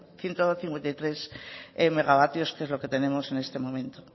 ciento cincuenta y tres megavatios que es lo que tenemos en este momento